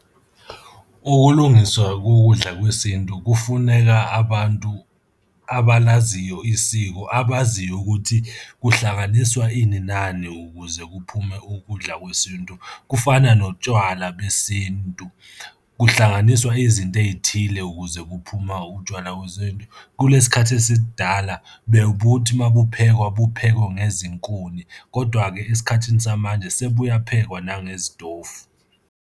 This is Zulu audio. Ukulungiswa kokudla kwesintu kufuneka abantu abalaziyo isiko abaziyo ukuthi kuhlanganiswa ini nani ukuze kuphume ukudla kwesintu. Kufana notshwala besintu, kuhlanganiswa izinto ey'thile ukuze kuphume utshwala besintu. Kulesi khathi esidala bebuthi uma kuphekwa buphekwe ngezinkuni, kodwa-ke esikhathini samanje sebuyaphekwa nangezitofu.